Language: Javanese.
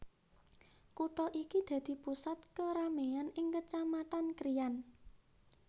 Kutha iki dadi pusat kerameyan ing Kecamatan Krian